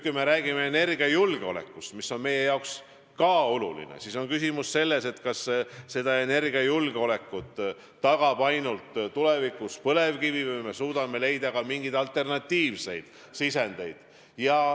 Kui me räägime energiajulgeolekust, mis on meie jaoks ka oluline, siis on küsimus selles, kas meie energiajulgeoleku tagab tulevikus ainult põlevkivi või me suudame leida ka mingeid alternatiivseid sisendeid.